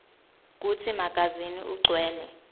kutsi magazini ugcwele